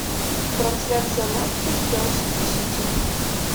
трансляция матча челси и сити